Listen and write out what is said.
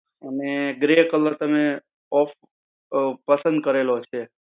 અને grey color તમે પસંદ કરેલો છે.